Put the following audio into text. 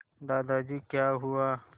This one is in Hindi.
दादाजी क्या हुआ